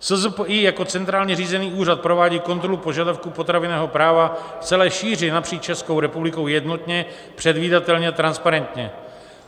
SZPI jako centrálně řízený úřad provádí kontrolu požadavků potravinového práva v celé šíři napříč Českou republikou jednotně, předvídatelně a transparentně.